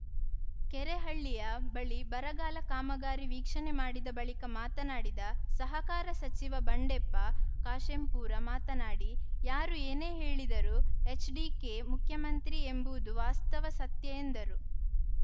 ಕೆರೆಹಳ್ಳಿಯ ಬಳಿ ಬರಗಾಲ ಕಾಮಗಾರಿ ವೀಕ್ಷಣೆ ಮಾಡಿದ ಬಳಿಕ ಮಾತನಾಡಿದ ಸಹಕಾರ ಸಚಿವ ಬಂಡೆಪ್ಪ ಕಾಶೆಂಪೂರ ಮಾತನಾಡಿ ಯಾರು ಏನೇ ಹೇಳಿದರೂ ಎಚ್‌ಡಿಕೆ ಮುಖ್ಯಮಂತ್ರಿ ಎಂಬುದು ವಾಸ್ತವ ಸತ್ಯ ಎಂದರು